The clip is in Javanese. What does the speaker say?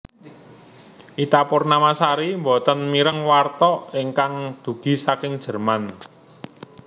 Ita Purnamasari mboten mireng warta ingkang dugi saking Jerman